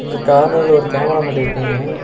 இங்க கார்னர்ல ஒரு கேமரா மாட்டிருக்காங்க.